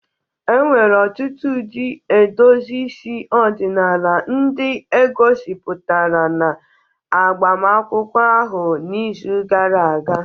E nwere ọtụtụ ụdị edozi isi ọdịnala ndị e gosipụtara na agbamakwụkwọ ahụ n'izu gara aga